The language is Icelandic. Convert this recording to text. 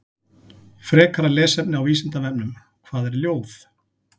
Frekara lesefni á Vísindavefnum: Hvað er ljóð?